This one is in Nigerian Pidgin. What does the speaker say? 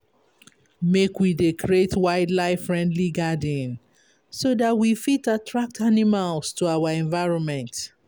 Make we dey create wildlife-friendly garden so dat we fit attract animals to our environment.